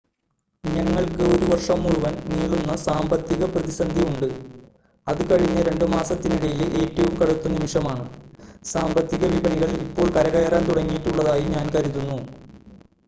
ഞങ്ങൾക്ക് ഒരു വർഷം മുഴുവൻ നീളുന്ന സാമ്പത്തിക പ്രതിസന്ധിയുണ്ട് അത് കഴിഞ്ഞ രണ്ട് മാസത്തിനിടയിലെ ഏറ്റവും കടുത്ത നിമിഷമാണ് സാമ്പത്തിക വിപണികൾ ഇപ്പോൾ കരകയറാൻ തുടങ്ങിയിട്ടുള്ളതായി ഞാൻ കരുതുന്നു